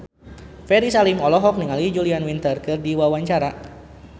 Ferry Salim olohok ningali Julia Winter keur diwawancara